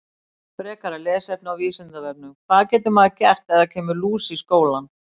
Frekara lesefni á Vísindavefnum: Hvað getur maður gert ef það kemur lús í skólann?